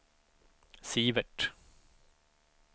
Sivert